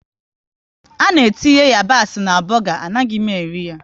Ana etinye yabasị na buga, anaghị m eri ya